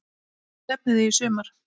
Hvert stefnið þið í sumar?